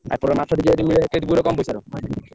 ଆଉ